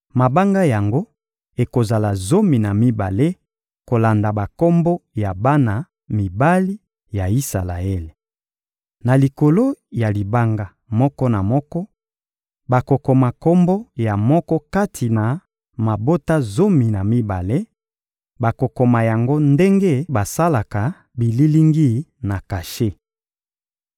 Mabanga yango ekozala zomi na mibale kolanda bakombo ya bana mibali ya Isalaele. Na likolo ya libanga moko na moko, bakokoma kombo ya moko kati na mabota zomi na mibale; bakokoma yango ndenge basalaka bililingi na kashe.